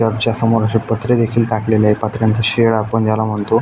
च्या समोर पत्रे देखील टाकलेले आहेत पत्र्याचं शेड आपण याला म्हणतो.